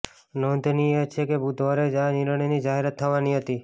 નોંધનીય છે કે બુધવારે જ આ નિર્ણયની જાહેરાત થવાની હતી